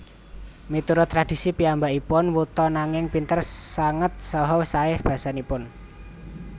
Miturut tradhisi piyambakipun wuta nanging pinter sanget saha saé basanipun